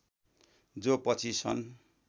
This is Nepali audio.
जो पछि सन्